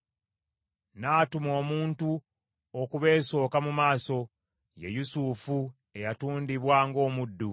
N’atuma omuntu okubeesooka mu maaso, ye Yusufu eyatundibwa ng’omuddu,